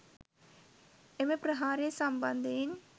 එම ප්‍රහාරය සම්බන්ධයෙන්